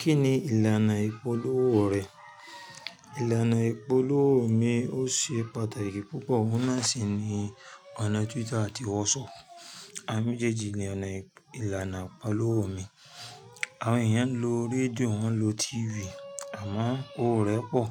Kí ni ìlànà ìpolówó rẹ̀? Ìlànà ìpolówó mi ò ṣe pàtàkì púpọ̀, wọ́n má sì ní ọ̀nà Twitter àti WhatsApp. Awon méjèèjì ni ọ̀nà ìlànà ìpolówó mi. Àwọn èèyàn ń lo radíò, wọ́n ń lo TV àmọ́ owo rẹ́ pọ̀.